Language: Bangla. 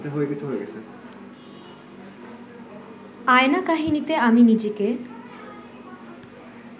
আয়না কাহিনীতে আমি নিজেকে